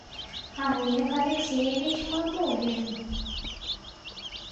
олег алексеевич мамулин